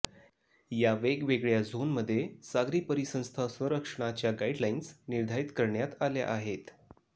या वेगवेगळ्या झोनमध्ये सागरी परिसंस्था संरक्षणाच्या गाईडलाइन्स निर्धारित करण्यात आल्या आहेत